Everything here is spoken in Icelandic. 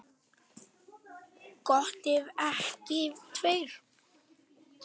Gott ef ekki tveir.